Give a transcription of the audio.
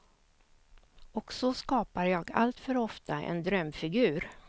Och så skapar jag alltför ofta en drömfigur.